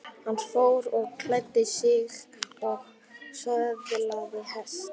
Hann fór og klæddi sig og söðlaði hest.